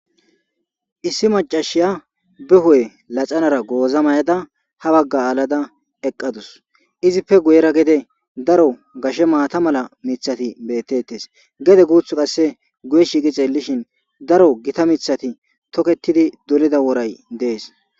Issi macasiya be hu'e laxanara goza mayada ha baga alada eqadusu izippe guyrera gede daro gashe maata mala mithati betetes gede guthi guye shiiqi xelishin daro gita mithati toketidi dolida woray des